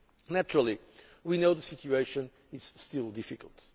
Naturally, we know the situation is still difficult.